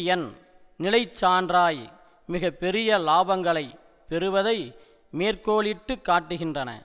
எண் நிலைச்சான்றாய் மிக பெரிய இலாபங்களை பெறுவதை மேற்கோளிட்டு காட்டுகின்றன